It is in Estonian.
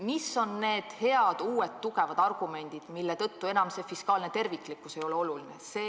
Mis on need uued tugevad argumendid, mille tõttu enam fiskaalne terviklikkus ei ole oluline?